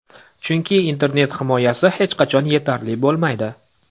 Chunki internet himoyasi hech qachon yetarli bo‘lmaydi.